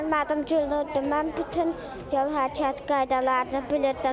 Mənim adım Güldür, mən bütün yol hərəkət qaydalarını bilirdim.